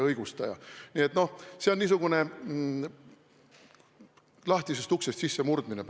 Nii et see on praegu niisugune lahtisest uksest sissemurdmine.